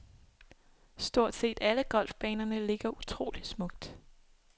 Stort set alle golfbanerne ligger utroligt smukt.